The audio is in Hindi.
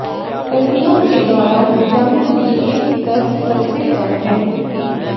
सर्दियों के दौरान विटामिन डी के स्तर सबसे कम हैं